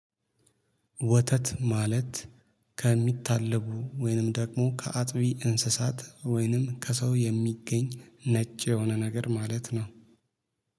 ወተት ማለት ከሚታለቡ ወይንም ደግሞ ከአጥቢ እንስሳት ወይንም ከሰው የሚገኝ ነጭ የሆነ ነገር ማለት ነው